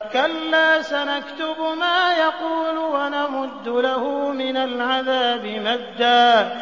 كَلَّا ۚ سَنَكْتُبُ مَا يَقُولُ وَنَمُدُّ لَهُ مِنَ الْعَذَابِ مَدًّا